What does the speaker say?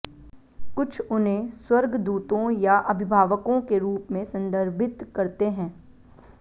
कुछ उन्हें स्वर्गदूतों या अभिभावकों के रूप में संदर्भित करते हैं